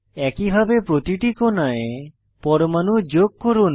একইভাবে প্রতিটি কোণায় পরমাণু যোগ করুন